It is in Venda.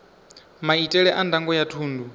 maitele a ndango ya thundu